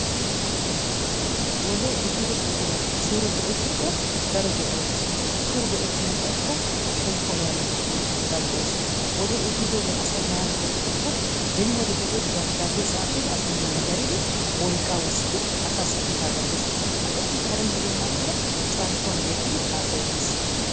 Wodee ehido buqura suure go'ettikko daro go'ay des. Suure go'ettana xayikko shemppuwa woranakka danddayes. Wodee ehidoogee asay maara go'ettikko beni wodiya be'iyode asay dabidaabbiya tsaafidi manddaridi wolqqaa wuridi asay asaassi kiitaa gattes. Ha'i Karen diya naatuura carkkuwan gayittidi hassayettes.